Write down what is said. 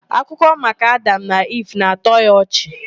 Akụkọ maka Adam na Iv na-atọ ya ọchị